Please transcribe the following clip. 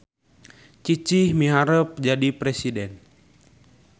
Cicih miharep jadi presiden